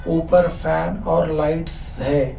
ऊपर फैन और लाइट्स है।